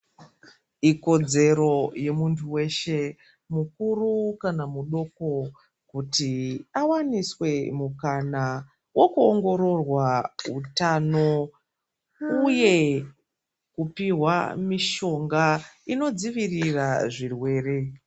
Ikodzero yemuntu weshe mukuru kana mudoko, kuti awaniswe mukana wokuongororwa utano uye kupihwa mishonga inodzivirira zvirwere.